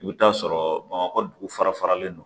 I bɛ t'a sɔrɔ bamakɔ dugu fara faralen don